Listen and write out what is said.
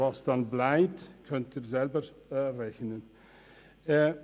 Was dann bleibt, können Sie selber ausrechnen.